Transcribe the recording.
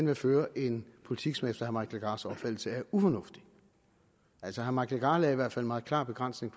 vil føre en politik som efter herre mike legarths opfattelse er ufornuftig altså herre mike legarth lagde i hvert fald meget klare begrænsninger